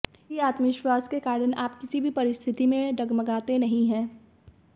इसी आत्मविश्वास के कारण आप किसी भी परिस्थिति में डगमगाते नहीं है